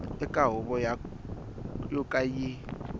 eka huvo yo ka yi